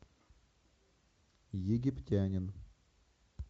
египтянин